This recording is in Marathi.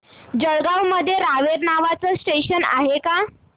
जळगाव मध्ये रावेर नावाचं स्टेशन आहे का